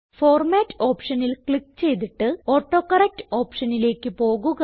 format ഓപ്ഷനിൽ click ചെയ്തിട്ട് autocorrect ഓപ്ഷനിലേക്ക് പോകുക